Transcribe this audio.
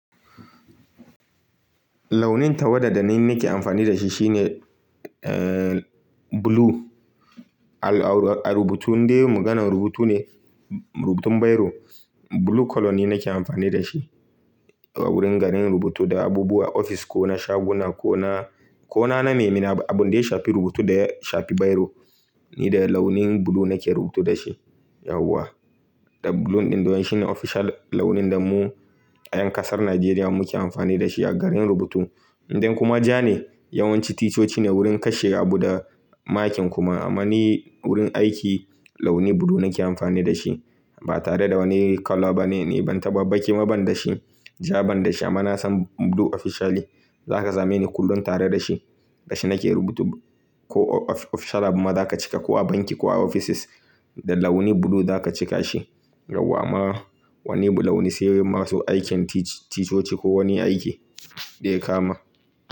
Launin tawada da ni nake amfani da shi shine, eh, blue. A rubutu, indai maganar rubutu ne, rubutun biro, blue colour ne nake amfani da shi. A wurin ganin rubutu da abubuwa, ofis ko na shaguna ko na, ko na na nemi abu dai shafi rubutu da shafi biro, ni da launin blue nake rubutu da shi. Yawwa, da blue ɗin da wai shine official launin da mu a yan kasar Najeriya muke amfani da shi a garin rubutu. Indai kuma ja ne yawanci ticoci ne wurin kashe abu da makin kuma. Amma ni wurin aiki launi blue nake amfani da shi. Ba tare da wani colour ba ne, ni ban taɓa bakewa ban da shi. Ja ban da shi amma na san blue officially za ka same ni kullum tare da shi. Da shi nake rubutu ko official abin ma za ka cika, ko a banki ko a offices, da launi blue za ka cika shi. Yawwa ma wani blue launi sai masu aikin ticoci ko wani aiki dai ya kama.